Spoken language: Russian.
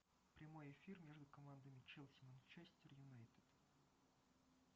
прямой эфир между командами челси манчестер юнайтед